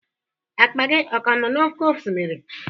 Akpa gị ọ ka nọ n'oké osimiri?